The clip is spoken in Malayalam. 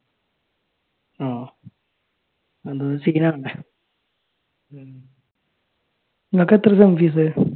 ആഹ് എന്താന്നുവെച്ചാൽ നിങ്ങൾക്കെത്ര sem fees